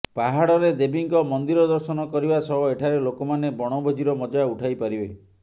ପାହାଡ଼ରେ ଦେବୀଙ୍କ ମନ୍ଦିର ଦର୍ଶନ କରିବା ସହ ଏଠାରେ ଲୋକମାନେ ବଣଭୋଜିର ମଜା ଉଠାଇପାରିବେ